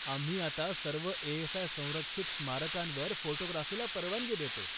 आम्ही आता सर्व ए.एस.आय. संरक्षित स्मारकांवर फोटोग्राफीला परवानगी देतो.